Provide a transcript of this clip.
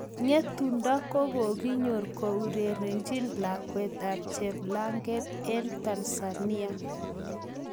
Ngetundo kokokinyor korerechin lakwet ap cheplanget en Tanzania